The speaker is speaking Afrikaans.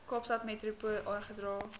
kaapstad metropool oorgedra